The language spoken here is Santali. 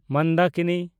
ᱢᱚᱱᱫᱟᱠᱤᱱᱤ (ᱩᱛᱛᱚᱨᱟᱯᱷᱳᱨᱴ)